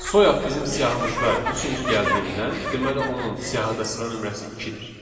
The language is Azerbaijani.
Soyad bizim siyahımızda üçüncü gəldiyindən, deməli onun siyahı sıra nömrəsi ikidir.